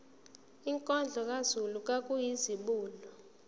inkondlo kazulu kwakuyizibulo